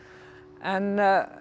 en